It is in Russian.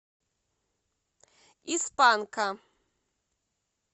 из панка